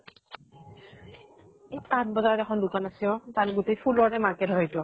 এই পান বজাৰত এখন দুকান আছে অ তাত গোটেই ফুলৰে market হয় সেইতো।